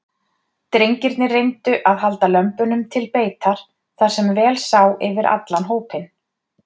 Drengirnir reyndu að halda lömbunum til beitar þar sem vel sá yfir allan hópinn.